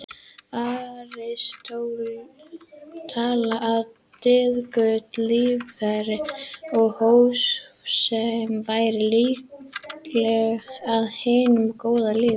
Aristóteles taldi að dygðugt líferni og hófsemi væri lykillinn að hinu góða lífi.